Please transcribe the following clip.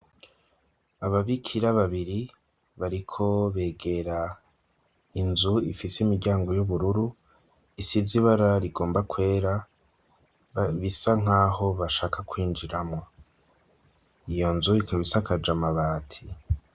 Ababikira babiri, bariko begera inzu ifise imiryango y'ubururu, isize ibara rigomba kwera, bisa nk'aho bashaka kwinjiramwo; iyo nzu ikaba isakaj amabati.